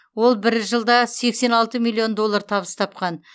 ол бір жылда сексен алты миллион доллар табыс тапқан